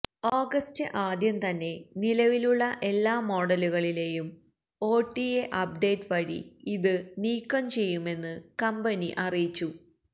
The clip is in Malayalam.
ഓഗസ്റ്റ് ആദ്യം തന്നെ നിലവിലുള്ള എല്ലാ മോഡലുകളിലെയും ഒടിഎ അപ്ഡേറ്റ് വഴി ഇത് നീക്കം ചെയ്യുമെന്ന് കമ്പനി അറിയിച്ചു